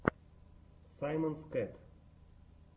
саймонс кэт